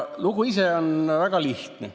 Lugu ise on väga lihtne.